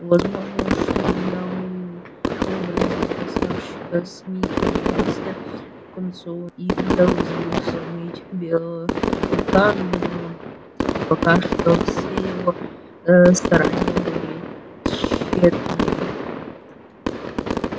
возможно что дьяволу в образе красавчика смита в конце концов и удалось бы сломить белого клыка но пока что все его ээ старания были тщетные